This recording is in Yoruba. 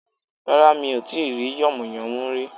Rárá mi ò tí yànmùyánmú rí